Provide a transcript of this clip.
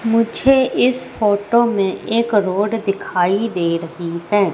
मुझे इस फोटो मे एक रोड दिखाई दे रही है।